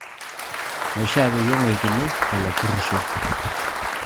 Meishaa peyie eunkini lelo porrisho